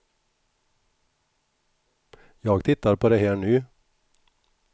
Jag tittar på det här nu.